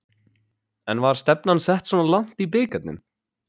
En var stefnan sett svona langt í bikarnum?